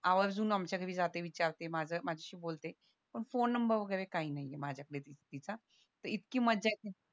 आवर्जून आमच्या घरी जाते विचारते माझं माझ्याशी बोलते पण फोन नंबर वैगेरे काही नाहीये माझ्या कडे तिचा तर इतकी मज्जा येते